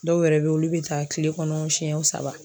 Dɔw wɛrɛ beyi olu bɛ taa kile kɔnɔ siɲɛ saba.